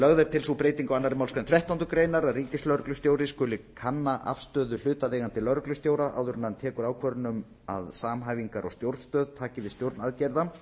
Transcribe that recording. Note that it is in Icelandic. lögð er til sú breyting á annarri málsgrein þrettándu grein að ríkislögreglustjóri skuli kanna afstöðu hlutaðeigandi lögreglustjóra áður en hann tekur ákvörðun um að samhæfingar og stjórnstöð taki við stjórn aðgerða